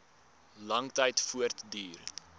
lang tyd voortduur